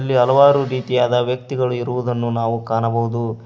ಇಲ್ಲಿ ಹಲವಾರು ರೀತಿಯಾದ ವ್ಯಕ್ತಿಗಳು ಇರುವುದನ್ನು ನಾವು ಕಾಣಬಹುದು.